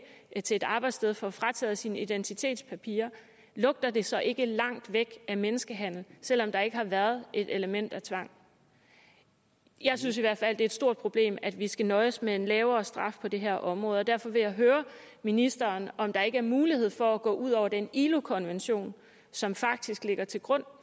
til et arbejdssted og får frataget sine identitetspapirer lugter det så ikke langt væk af menneskehandel selv om der ikke har været et element af tvang jeg synes i hvert fald det er et stort problem at vi skal nøjes med en lavere straf på det her område og derfor vil jeg høre ministeren om der ikke er mulighed for at gå ud over den ilo konvention som faktisk ligger til grund